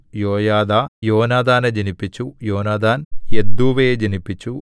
യോയാദാ യോനാഥാനെ ജനിപ്പിച്ചു യോനാഥാൻ യദ്ദൂവയെ ജനിപ്പിച്ചു